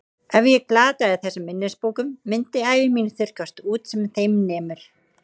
Ef ég glataði þessum minnisbókum myndi ævi mín þurrkast út sem þeim nemur.